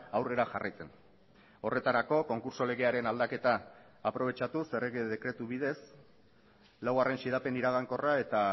aurrera jarraitzen horretarako konkurtso legearen aldaketa aprobetxatuz errege dekretu bidez laugarren xedapen iragankorra eta